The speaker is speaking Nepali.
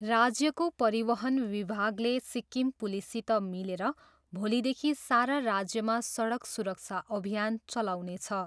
राज्यको परिवहन विभागले सिक्किम पुलिससित मिलेर भोलिदेखि सारा राज्यमा सडक सुरक्षा अभियान चलाउनेछ।